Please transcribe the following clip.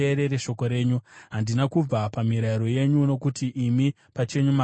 Handina kubva pamirayiro yenyu, nokuti imi pachenyu makandidzidzisa.